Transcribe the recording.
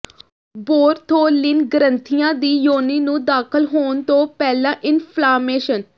Bartholin ਗ੍ਰੰਥੀਆਂ ਦੀ ਯੋਨੀ ਨੂੰ ਦਾਖ਼ਲ ਹੋਣ ਤੋਂ ਪਹਿਲਾਂ ਇਨਫਲਾਮੇਸ਼ਨ